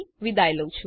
જોડાવાબદ્દલ આભાર